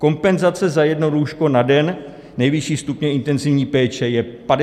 Kompenzace za jedno lůžko na den nejvyšší stupně intenzivní péče je 59 064 korun.